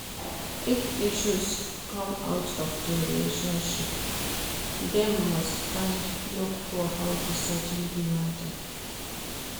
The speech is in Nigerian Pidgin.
If issues come out of di relationship dem must first look for how to settle di matter